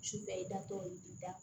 Sufɛ i da tɔ ye da